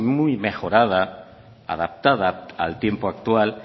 muy mejorada adaptada al tiempo actual